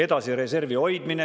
Edasi, reservi hoidmine.